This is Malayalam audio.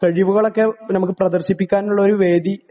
കഴിവുകളൊക്കെ ഞമ്മക്ക് പ്രദർശിപ്പിക്കാൻ ഉള്ള ഒരു വേദി ആയി